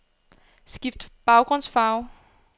Skift baggrundsfarve.